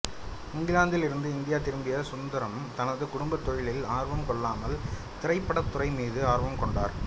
இங்கிலாந்திலிருந்து India திரும்பிய சுந்தரம் தனது குடும்பத் தொழிலில் ஆர்வம் கொள்ளாமல் திரைப்படத்துறை மீது ஆர்வம் கொண்டார்